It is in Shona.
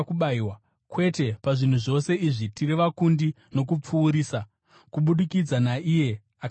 Kwete, pazvinhu zvose izvi tiri vakundi nokupfuurisa kubudikidza naiye akatida.